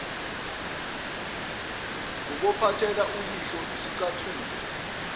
ubophathela uyihlo isicathulo